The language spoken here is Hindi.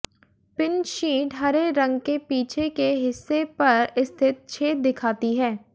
पिन शीट हरे रंग के पीछे के हिस्से पर स्थित छेद दिखाती है